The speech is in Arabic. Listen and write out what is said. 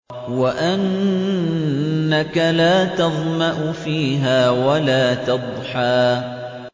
وَأَنَّكَ لَا تَظْمَأُ فِيهَا وَلَا تَضْحَىٰ